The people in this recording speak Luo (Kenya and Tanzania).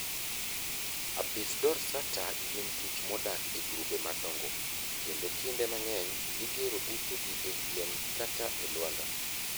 Apis dorsata gin kich modak e grube madongo, kendo kinde mang'eny gigero utegi e yien kata e lwanda.